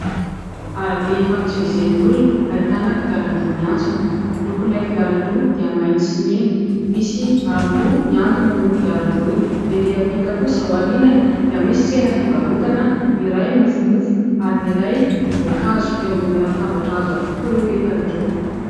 Arabe ifamezivezen'ny olona ahitana kodiarandroa miantsona. Lokon'ilay kodiarandroa dia mainty sy mena, misy aroloha miantona eo amin'io kodiarandroa io. Erỳ ampita kosa ao aorinany dia misy tsena fivarotana ny iray mofo mofo ary ny iray voankazo, eo ambonina latabatra hazo avokoa ireo entana ireo.